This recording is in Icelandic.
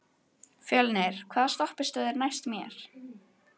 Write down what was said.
Fjölnir, hvaða stoppistöð er næst mér?